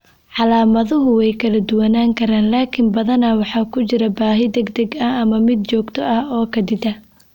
Calaamaduhu way kala duwanaan karaan, laakiin badanaa waxaa ku jira baahi degdeg ah ama mid joogto ah oo kaadida.